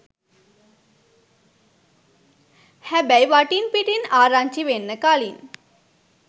හැබැයි වටින් පිටින් ආරංචි වෙන්න කලින්